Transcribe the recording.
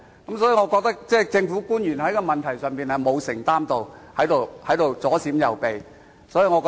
因此，我認為政府官員在這問題上並沒有作出承擔，只是左閃右避。